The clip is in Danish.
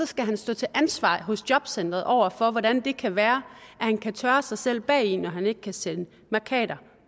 skal så stå til ansvar hos jobcenteret over for hvordan det kan være at han kan tørre sig selv bagi når han ikke kan sætte mærkater